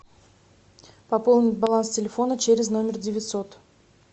пополнить баланс телефона через номер девятьсот